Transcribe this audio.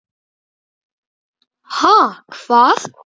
Ha, hvað?